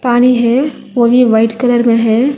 पानी है वो भी वाइट कलर में है।